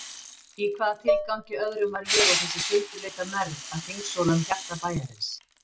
Í hvaða tilgangi öðrum var ég og þessi sundurleita mergð að hringsóla um hjarta bæjarins?